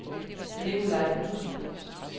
Nikolaj Bruun